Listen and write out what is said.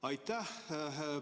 Aitäh!